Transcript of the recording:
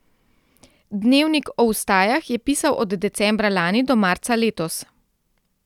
Dnevnik o vstajah je pisal od decembra lani do marca letos.